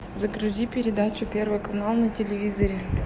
загрузи передачу первый канал на телевизоре